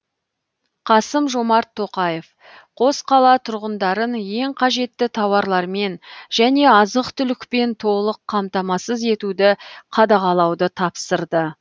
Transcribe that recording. қасым жомарт тоқаев қос қала тұрғындарын ең қажетті тауарлармен және азық түлікпен толық қамтамасыз етуді қадағалауды тапсырды